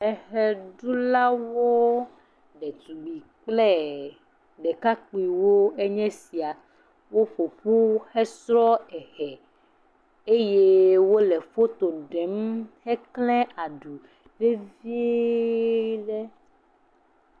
Ɣeɖulawo le dume kple ɖekakpuiwoe nye esia wo ƒoƒu hesrɔ eɣe eye wole foto ɖem hekle aɖu vevie